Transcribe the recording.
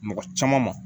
Mɔgɔ caman ma